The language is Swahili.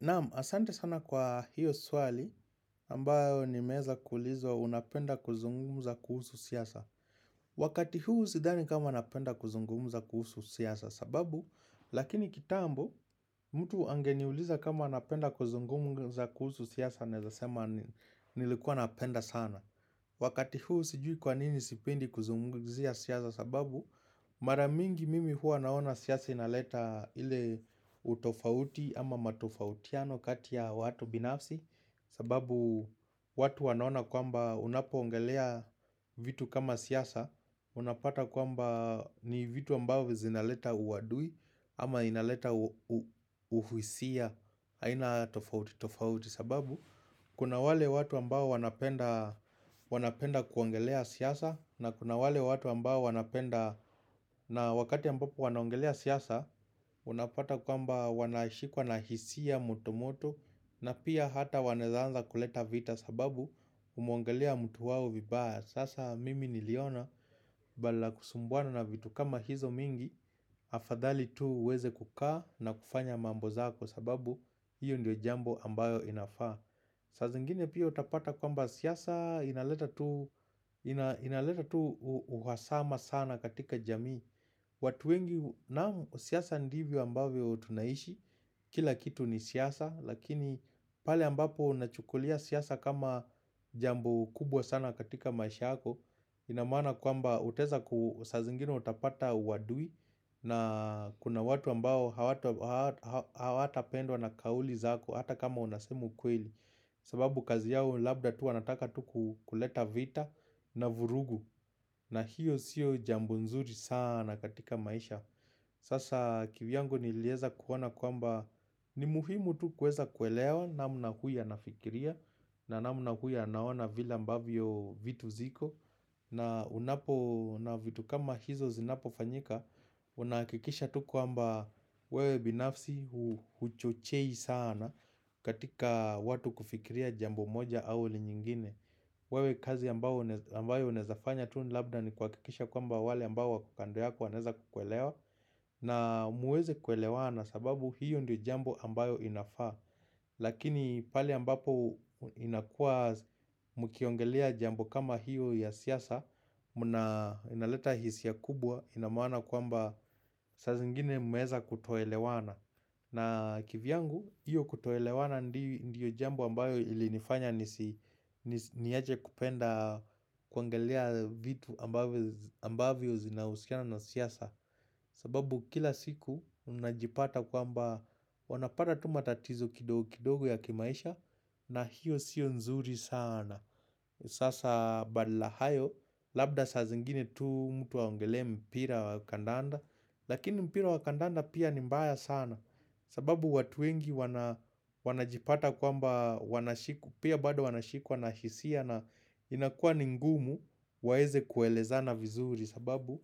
Naam, asante sana kwa hiyo swali ambayo nimeeza kuulizwa unapenda kuzungumza kuhusu siasa. Wakati huu sidhani kama napenda kuzungumza kuhusu siasa sababu, lakini kitambo, mtu angeniuliza kama unapenda kuzungumza kuhusu siasa naeza sema nilikuwa napenda sana. Wakati huu sijui kwa nini sipendi kuzungumzia siasa sababu, Mara mingi mimi huwa naona siasa inaleta ile utofauti ama matofautiano kati ya watu binafsi sababu watu wanaona kwamba unapoongelea vitu kama siasa unapata kwamba ni vitu ambao zinaleta uadui ama inaleta uhisia aina tofauti tofauti sababu Kuna wale watu ambao wanapenda kuongelea siasa na kuna wale watu ambao wanapenda na wakati ambapo wanaongelea siasa Unapata kwamba wanashikwa na hisia moto moto na pia hata wanaeza anza kuleta vita sababu umeongelea mtu wao vibaya Sasa mimi niliona badala ya kusumbuana na vitu kama hizo mingi Afadhali tu weze kukaa na kufanya mambo zako kwa sababu hiyo ndio jambo ambayo inafaa saa zingine pia utapata kwamba siasa inaleta tu uhasama sana katika jamii watu wengi na siasa ndivyo ambavyo tunaishi kila kitu ni siasa Lakini pale ambapo unachukulia siasa kama jambo kubwa sana katika maisha yako ina maana kwamba utaeza ku saa zingine utapata uadui na kuna watu ambao hawatapendwa na kauli zako hata kama unasema ukweli sababu kazi yao labda tu wanataka tu ku kuleta vita na vurugu na hiyo siyo jambo nzuri sana katika maisha Sasa kivyangu nilieza kuona kwamba ni muhimu tu kueza kuelewa namna huyu anafikiria na namna huyu anaona vile ambavyo vitu ziko na unapoona vitu kama hizo zinapofanyika Unahakikisha tuku kwamba wewe binafsi huchochei sana katika watu kufikiria jambo moja au li nyingine wewe kazi ambayo unaeza fanya tu labda ni kuhakikisha kwamba wale ambao wako kando yako wanaeza kukuelewa na muweze kuelewana sababu hiyo ndiyo jambo ambayo inafaa Lakini pale ambapo inakua mkiongelea jambo kama hiyo ya siasa mnaleta hisia kubwa ina maana kwamba sa zingine mmeeza kutoelewana na kivyangu, hiyo kutoelewana ndiyo jambo ambayo ilinifanya nisi Niaje kupenda kuongelea vitu ambavyo zinausiana na siasa sababu kila siku mnajipata kwamba wanapata tu matatizo kidogo kidogo ya kimaisha na hiyo sio nzuri sana Sasa badala hayo labda saa zingine tu mtu aongelee mpira wa kandanda Lakini mpira wa kandanda pia ni mbaya sana sababu watu wengi wanajipata kwamba wanashiku Pia bado wanashikwa na hisia na inakua ni ngumu waeze kuelezana vizuri sababu